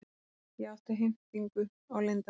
Ég átti heimtingu á leyndarmálum.